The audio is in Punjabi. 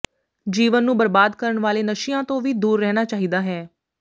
ਜੀਵਨ ਨੂੰ ਬਰਬਾਦ ਕਰਨ ਵਾਲੇ ਨਸ਼ਿਆਂਂ ਤੋਂ ਵੀ ਦੂਰ ਰਹਿਣਾ ਚਾਹੀਦਾ ਹੈ